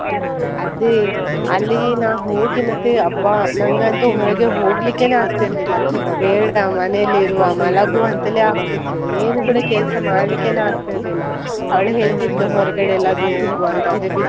ಅದೇ, ಅಲ್ಲಿ ನಾನು ಹೋಗಿ ಮತ್ತೆ ಅಬ್ಬಾ ನಂಗಂತೂ ಹೊರಗೆ ಹೋಗ್ಲಿಕ್ಕೇನೆ ಆಗ್ತಿರ್ಲಿಲ್ಲ, ಬೇಡ ಮನೇಲೆ ಇರುವ ಮಲಗುವ ಅಂತಾಲೇ ಆಗ್ತಿತ್ತು, ಏನೂ ಕೂಡ ಕೆಲಸ ಮಾಡ್ಲಿಕ್ಕೇನೆ ಆಗ್ತಿರ್ಲಿಲ್ಲ, ಅವಳು ಹೇಳತಿದ್ಲು ಹೊರಗಡೆ ಎಲ್ಲಾದರೂ ಹೋಗುವ ಅಂತ ಆದೆ.